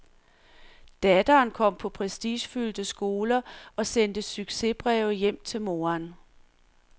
Datteren kom på prestigefyldte skoler og sendte succesbreve hjem til moderen.